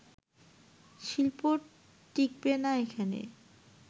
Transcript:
শিল্প টিকবে না এখানে